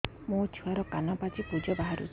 ମୋ ଛୁଆର କାନ ପାଚି ପୁଜ ବାହାରୁଛି